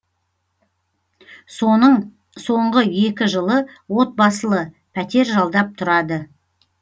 соның соңғы екі жылы отбасылы пәтер жалдап тұрады